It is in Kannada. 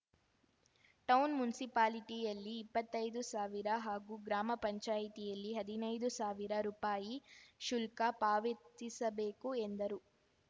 ಟೌನ್‌ ಮುನ್ಸಿಪಾಲಿಟಿಯಲ್ಲಿ ಇಪ್ಪತ್ತೈದು ಸಾವಿರ ಹಾಗೂ ಗ್ರಾಮ ಪಂಚಾಯತಿಯಲ್ಲಿ ಹದ್ನೈದು ಸಾವಿರ ರುಪಾಯಿ ಶುಲ್ಕ ಪಾವತಿಸಬೇಕು ಎಂದರು